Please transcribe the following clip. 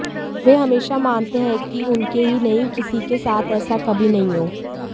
वे हमेशा मनाते हैं कि उनके ही नहीं किसी के साथ ऐसा कभी नहीं हो